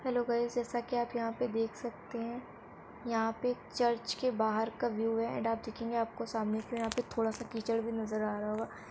Hello guys जैसा के आप यहाँ पे देख सकते हैं यहाँ पे चर्च के बाहर का व्यू है एंड आप देखेंगे आप को सामने के यहाँ पे थोड़ा सा कीचड़ भी नज़र आ रहा होगा।